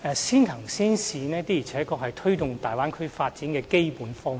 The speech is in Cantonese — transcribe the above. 先行先試的確是推動大灣區發展的基本方略。